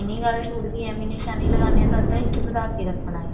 lining suit ਦੀ ਏਵੇਂ ਨਿਸ਼ਾਨੀ ਲਗਾਉਂਦੇ ਹਾਂ ਤਾਂ ਅੱਧਾ ਇੰਚ ਵਧਾ ਕੇ ਰੱਖਣਾ ਹੈ